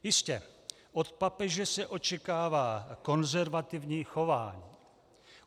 Jistě, od papeže se očekává konzervativní chování.